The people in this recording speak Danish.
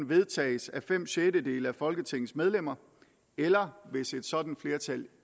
vedtages af fem sjettedele af folketingets medlemmer eller hvis et sådant flertal